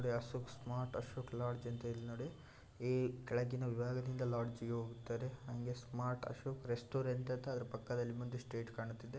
ನೊಡಿ Ashok smart Ashok lodge ( ಅಂತ ಇಲ್ ನೋಡಿ ಈ ಕೆಳಗಿನ ವಿಭಾಗದಿಂದ ಲಾಡ್ಜ್ಗೆ ಹೋಗುತ್ತಾರೆ ಹಂಗೆ ಸ್ಮಾರ್ಟ್ ಅಶೋಕ್ರೆ ಸ್ಟೋರೆಂಟ್ ಅಂತ ಅದ್ರು ಪಕ್ಕದಲ್ಲಿ ಮುಂದೆ ಸ್ಟ್ರೈಟ್ ಕಾಣುತ್ತಿದೆ.